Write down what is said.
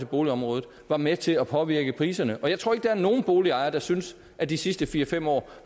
boligområdet var med til at påvirke priserne og jeg tror ikke at der er nogen boligejere der synes at de sidste fire fem år